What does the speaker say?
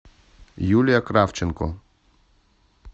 юлия кравченко